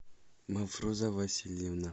мафроза васильевна